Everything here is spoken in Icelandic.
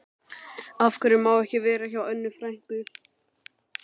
Af hverju má ég ekki vera hjá Önnu frænku?